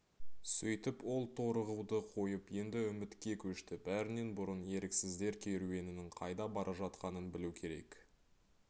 сөйтіп ол торығуды қойып енді үмітке көшті бәрінен бұрын еріксіздер керуенінің қайда бара жатқанын білу керек